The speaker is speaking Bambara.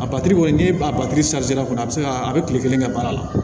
A batiri kɔni n'i b'a batu a bi se ka a bɛ kile kelen kɛ baara la